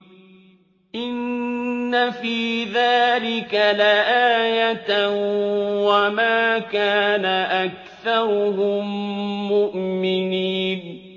إِنَّ فِي ذَٰلِكَ لَآيَةً ۖ وَمَا كَانَ أَكْثَرُهُم مُّؤْمِنِينَ